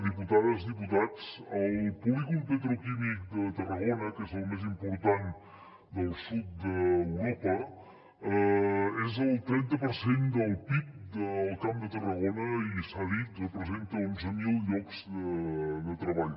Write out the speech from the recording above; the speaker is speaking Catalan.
diputades diputats el polígon petroquímic de tarragona que és el més important del sud d’europa és el trenta per cent del pib del camp de tarragona i s’ha dit representa onze mil llocs de treball